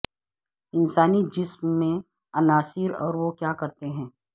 انسانی جسم میں عناصر اور وہ کیا کرتے ہیں